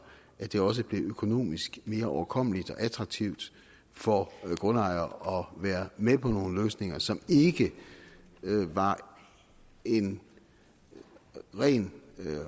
at det også blev økonomisk mere overkommeligt og attraktivt for grundejere at være med på nogle løsninger som ikke var en ren